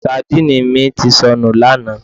Sandíìnì mi ti sọnù lánàá